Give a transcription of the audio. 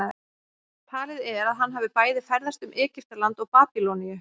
talið er að hann hafi bæði ferðast um egyptaland og babýloníu